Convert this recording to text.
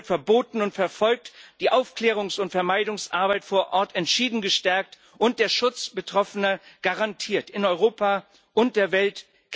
Sie gehört verboten und verfolgt, die Aufklärungs und Vermeidungsarbeit vor Ort entschieden gestärkt und der Schutz Betroffener garantiert in Europa und der Welt.